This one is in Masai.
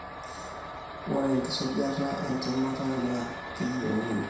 ore enkisujata entemata na keyieuni.